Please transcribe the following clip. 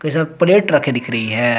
इसमें प्लेट रखी दिख रही है।